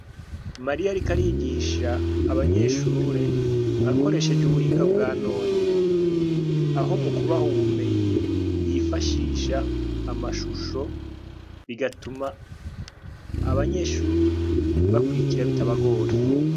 Mariya, ariko arigisha abanyeshure akoresheje ubuhinga bwa none aho mu kubaha ubumenyi yifashisha amashusho bigatuma abanyeshuri bakurikira bitabagoye.